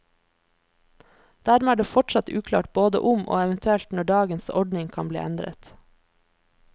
Dermed er det fortsatt uklart både om og eventuelt når dagens ordning kan bli endret.